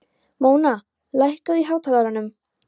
Móna, lækkaðu í hátalaranum.